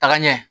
Taga ɲɛ